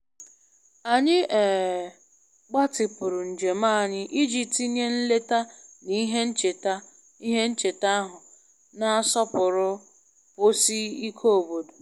Anyị um gbatịpụrụ njem anyị iji tinye nleta na ihe ncheta ihe ncheta ahụ na-asọpụrụ nkwụsi ike obodo